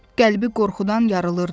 Qəlbi qorxudan yarılırdı.